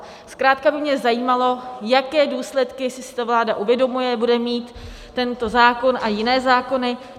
Zkrátka by mě zajímalo, jaké důsledky, jestli si to vláda uvědomuje, bude mít tento zákon a jiné zákony.